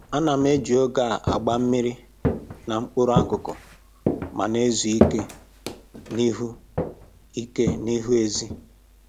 Ana m eji oge a agba mmiri na mkpụrụ akụkụ ma na-ezu ike n'ihu ike n'ihu ezi